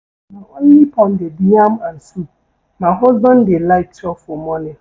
Na only pounded yam and soup my husband dey like chop for morning.